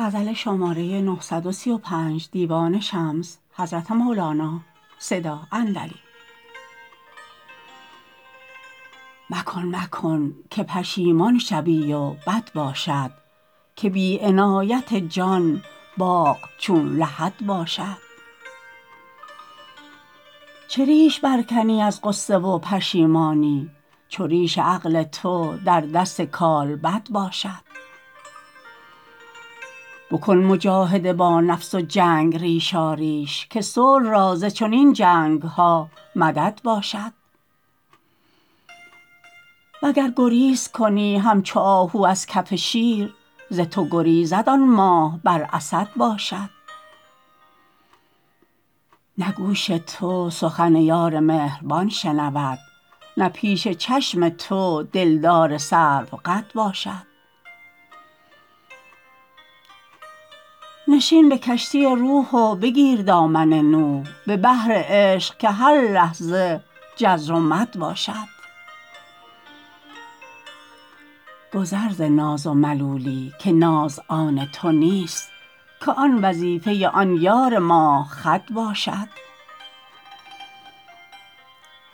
مکن مکن که پشیمان شوی و بد باشد که بی عنایت جان باغ چون لحد باشد چه ریشه برکنی از غصه و پشیمانی چو ریش عقل تو در دست کالبد باشد بکن مجاهده با نفس و جنگ ریشاریش که صلح را ز چنین جنگ ها مدد باشد وگر گریز کنی همچو آهو از کف شیر ز تو گریزد آن ماه بر اسد باشد نه گوش تو سخن یار مهربان شنود نه پیش چشم تو دلدار سروقد باشد نشین به کشتی روح و بگیر دامن نوح به بحر عشق که هر لحظه جزر و مد باشد گذر ز ناز و ملولی که ناز آن تو نیست که آن وظیفه آن یار ماه خد باشد